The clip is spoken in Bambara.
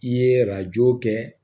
I ye arajo kɛ